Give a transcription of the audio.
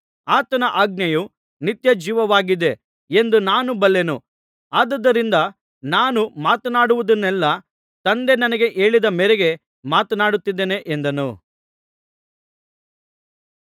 ಆತನ ಆಜ್ಞೆಯು ನಿತ್ಯಜೀವವಾಗಿದೆ ಎಂದು ನಾನು ಬಲ್ಲೆನು ಆದುದರಿಂದ ನಾನು ಮಾತನಾಡುವುದನ್ನೆಲ್ಲಾ ತಂದೆ ನನಗೆ ಹೇಳಿದ ಮೇರೆಗೆ ಮಾತನಾಡುತ್ತಿದ್ದೇನೆ ಎಂದನು